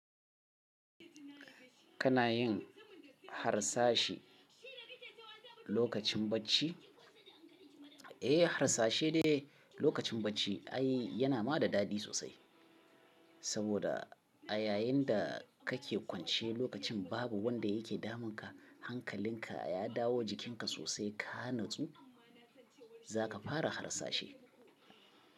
Kana yin harsashe lokacin bacci? Eh, harsashe ne lokacin bacci. Ai yana ma da daɗi sosai. Saboda a yayin da kake kwance lokacin babu wanda yake damunka, hankalinka ya dawo jikinka sosai ka natsu, zaka fara harsashi.